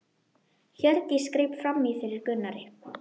Hjördís greip fram í fyrir Gunnari.